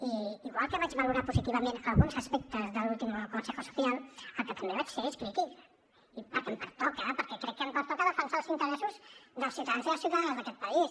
i igual que vaig valorar positivament alguns aspectes de l’últim consejo social el que també vaig ser és crític perquè em pertoca perquè crec que em pertoca defensar els interessos dels ciutadans i les ciutadanes d’aquest país